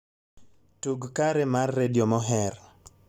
tug kare mar redio moher